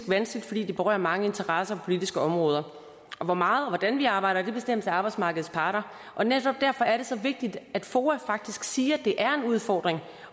vanskeligt fordi det berører mange interesser politiske områder hvor meget og hvordan vi arbejder bestemmes af arbejdsmarkedets parter men netop derfor er det så vigtigt at foa faktisk siger at det er en udfordring